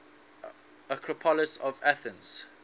acropolis of athens